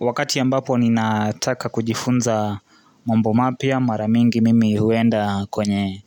Wakati ambapo ninataka kujifunza mambo mapya mara mingi mimi huenda kwenye